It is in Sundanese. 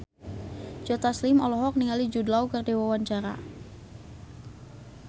Joe Taslim olohok ningali Jude Law keur diwawancara